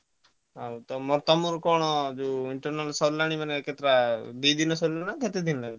ଆଉ ତମର internal ସରିଗଲାଣି କରତ୍ର ଦିନ ରେ ଦି ଦିନରେ ସରିଲା ନା କେତେ ଦିନ ରେ?